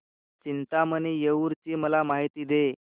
चिंतामणी थेऊर ची मला माहिती दे